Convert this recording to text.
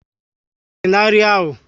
Ose á dí na nri ahụ?